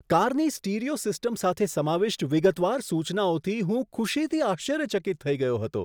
કારની stereo system સાથે સમાવિષ્ટ વિગતવાર સૂચનાઓથી હું ખુશીથી આશ્ચર્યચકિત થઈ ગયો હતો.